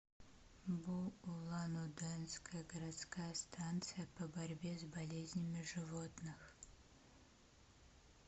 бу улан удэнская городская станция по борьбе с болезнями животных